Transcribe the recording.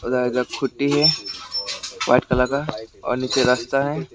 है white colour का और नीचे रास्ता है।